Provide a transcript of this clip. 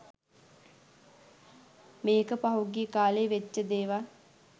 මේක පහුගිය කා‍ලේ වෙච්ච දේවල්